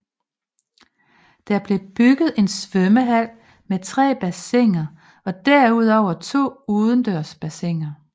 Der blev bygget en svømmehal med tre bassiner og derudover to udendørs bassiner